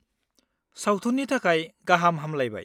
-सावथुननि थाखाय गाहाम हामलाइबाय!